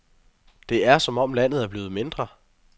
Det er, som om landet er blevet mindre.